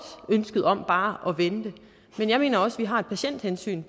ønsket om bare at vente men jeg mener også at vi har et patienthensyn